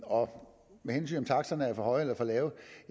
om taksterne er for høje eller for lave